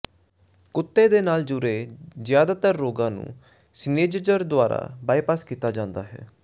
ਕੁੱਤੇ ਨਾਲ ਜੁੜੇ ਜ਼ਿਆਦਾਤਰ ਰੋਗਾਂ ਨੂੰ ਸਿਨੇਜੇਜਰ ਦੁਆਰਾ ਬਾਈਪਾਸ ਕੀਤਾ ਜਾਂਦਾ ਹੈ